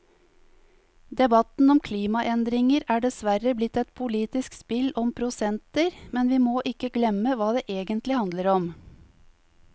Debatten om klimaendringer er dessverre blitt et politisk spill om prosenter, men vi må ikke glemme hva det egentlig handler om.